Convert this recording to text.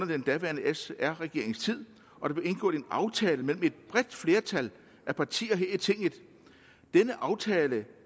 den daværende sr regerings tid og der blev indgået en aftale mellem et bredt flertal af partier her i tinget denne aftale